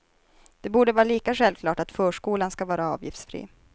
Det borde vara lika självklart att förskolan ska vara avgiftsfri.